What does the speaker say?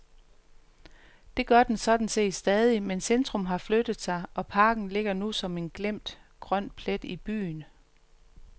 Det gør den sådan set stadig, men centrum har flyttet sig og parken ligger nu som en glemt, grøn plet i byen.